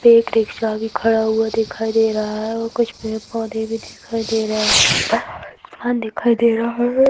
एक रिक्शा भी खड़ा हुआ दिखाई दे रहा है और कुछ पेड़ पोधे भी दिखाई दे रहे है। यहाँ पर आसमान दिखाई दे रहा है।